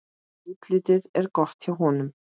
Útlitið er gott hjá honum.